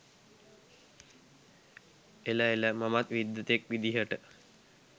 එල එල මමත් විද්වතෙක් විදිහට